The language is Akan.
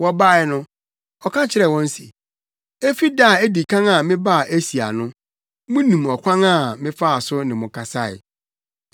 Wɔbae no, ɔka kyerɛɛ wɔn se, “Efi da a edi kan a mebaa Asia no, munim ɔkwan a mefaa so ne mo tenae.